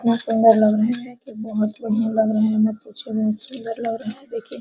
कितना सुंदर लग रहे हैं की बहुत बढ़िया लग रहे हैं मत पूछिए बहुत सुंदर लग रहे हैं देखिए।